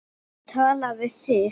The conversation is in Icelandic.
Tala við þig.